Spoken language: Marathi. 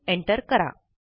इन एन्टर करा